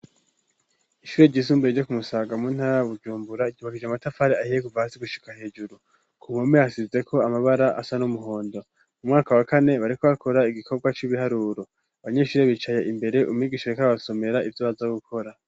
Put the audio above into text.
Ishure ry'izumbure ryo kumusaga mu ntara bujumbura gibagije amatafari ahiye guva hasi gushyika hejuru ku mhome hasize ko amabara asa n'umuhondo mu mwaka wa kane bareko bakora igikorwa cy'ibiharuro abanyeshuri bicaye imbere umyigisho rekab basomera ibyo bazo gukora.